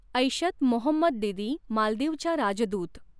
एैशथ मोहम्मद दिदी, मालदीवच्या राजदूत